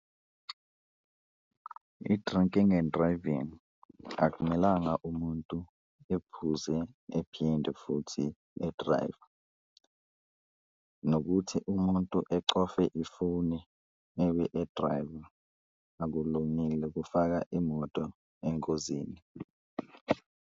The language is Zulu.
I-drinking and driving akumelanga umuntu ephuze ephinde futhi e-drive-e nokuthi umuntu ecofoze ifoni ebe e-drive-a akulungile kufaka imoto engozini.